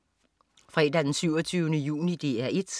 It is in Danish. Fredag den 27. juni - DR 1: